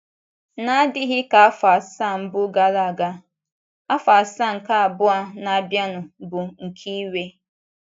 N’adịghị ka afọ asaa mbụ gara aga, afọ asaa nke abụọ a na-abianu bụ nke iwe.